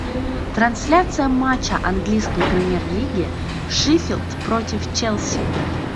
трансляция матча английской премьер лиги шеффилд против челси